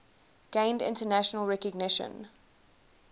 gained international recognition